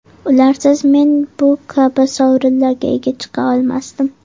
Ularsiz men bu kabi sovrinlarga ega chiqa olmasdim.